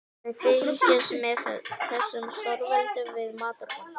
Við fylgjumst með þessum stórveldum við matarborðið.